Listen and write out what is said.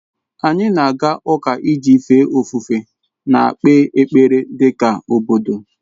Anyị na-aga ụka iji fee ofufe na-ekpe ekpere dị ka obodo.